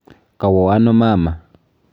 Kawo ano mama?